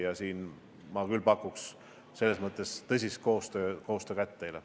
Ja siin ma küll pakun teile tõsist koostööd.